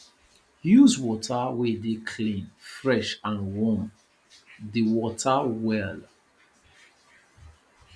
use water wey dey clean fresh and warm di water well